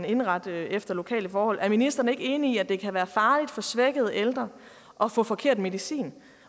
indrette det efter lokale forhold er ministeren ikke enig i at det kan være farligt for svækkede ældre at få forkert medicin